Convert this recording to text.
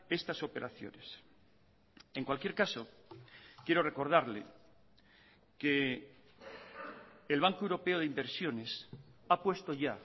estas operaciones en cualquier caso quiero recordarle que el banco europeo de inversiones ha puesto ya